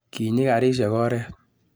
Kinyi garisiek oret